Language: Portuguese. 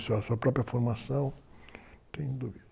Sua, sua própria formação